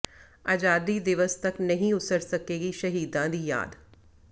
ਆਜ਼ਾਦੀ ਦਿਵਸ ਤੱਕ ਨਹੀਂ ਉਸਰ ਸਕੇਗੀ ਸ਼ਹੀਦਾਂ ਦੀ ਯਾਦ